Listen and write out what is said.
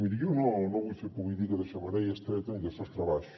miri jo no vull fer política de xemeneia estreta ni de sostre baix